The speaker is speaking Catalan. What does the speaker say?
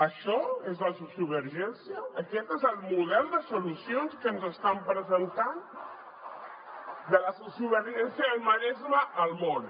això és la sociovergència aquest és el model de solucions que ens estan presentant de la sociovergència del maresme al món